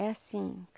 É assim.